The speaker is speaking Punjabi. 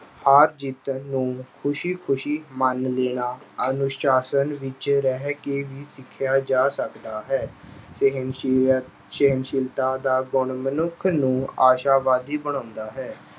ਹਾਰ-ਜਿੱਤ ਨੂੰ ਖੁਸ਼ੀ-ਖੁਸ਼ੀ ਮੰਨ ਲੈਣਾ, ਅਨੁਸ਼ਾਸਨ ਵਿੱਚ ਰਹਿ ਕੇ ਵੀ ਸਿੱਖਿਆ ਜਾ ਸਕਦਾ ਹੈ। ਸਹਿਣਸ਼ੀਅ ਅਹ ਸਹਿਣਸ਼ੀਲਤਾ ਦਾ ਗੁਣ ਮਨੁੱਖ ਨੂੰ ਆਸ਼ਾਵਾਦੀ ਬਣਾਉਂਦਾ ਹੈ।